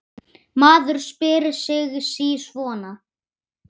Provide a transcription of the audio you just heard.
Maður spyr sig sí svona.